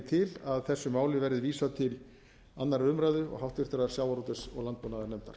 til að þessu máli verði vísað til annarrar umræðu og háttvirtur sjávarútvegs og landbúnaðarnefndar